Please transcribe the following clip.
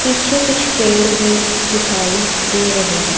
पीछे कुछ पेड़ भी दिखाई दे रहे हैं।